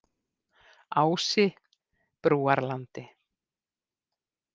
Ási Brúarlandi